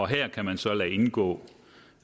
her kan man så lade indgå